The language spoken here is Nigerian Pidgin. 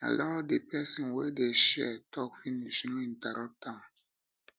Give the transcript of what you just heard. allow di person wey dey share talk finish no interrupt am